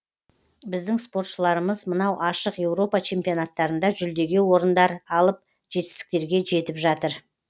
біздің спортшыларымыз мынау ашық еуропа чемпионаттарында жүлдеге орындар алып жетістіктерге жетіп жатыр